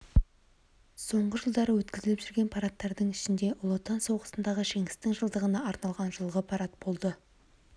соңғы жылдары өткізіліп жүрген парадтардың ішінде жж ұлы отан соғысындағы жеңістің жылдығына арналған жылғы парад болды